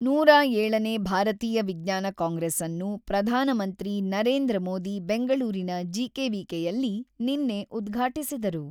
ನೂರ ಏಳನೇ ಭಾರತೀಯ ವಿಜ್ಞಾನ ಕಾಂಗ್ರೆಸ್‌ನ್ನು ಪ್ರಧಾನಮಂತ್ರಿ ನರೇಂದ್ರ ಮೋದಿ ಬೆಂಗಳೂರಿನ ಜಿಕೆವಿಕೆಯಲ್ಲಿ ನಿನ್ನೆ ಉದ್ಘಾಟಿಸಿದರು.